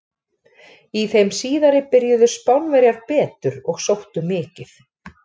Í þeim síðari byrjuðu Spánverjar betur og sóttu mikið.